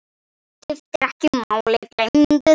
Skiptir ekki máli, gleymdu því.